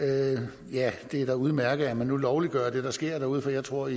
det er da udmærket at man nu lovliggør det der sker derude for jeg tror